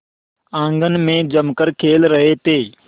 आंगन में जमकर खेल रहे थे